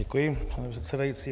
Děkuji, pane předsedající.